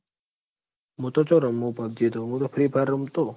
મું તો ચો રમું હુ PUBG તો મું તો free fire રમતો